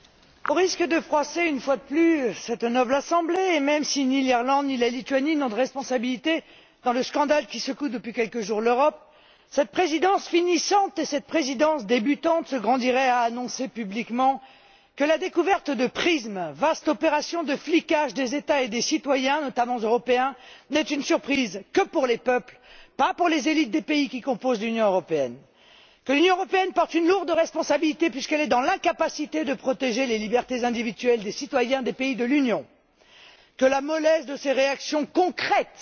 Monsieur le Président, au risque de froisser, une fois de plus, cette noble Assemblée, et même si ni l'Irlande, ni la Lituanie n'ont de responsabilité dans le scandale qui secoue depuis quelques jours l'Europe, cette Présidence finissante et cette Présidence débutante se grandiraient à annoncer publiquement que la découverte de PRISM, vaste opération de flicage des États et des citoyens, notamment européens, n'est une surprise que pour les peuples, et non pas pour les élites des États membres qui composent l'Union européenne. Elles auraient intérêt à admettre que l'Union européenne porte une lourde responsabilité puisqu'elle est dans l'incapacité de protéger les libertés individuelles des citoyens des États de l'Union, que la mollesse de ses réactions concrètes